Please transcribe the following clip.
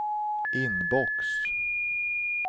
inbox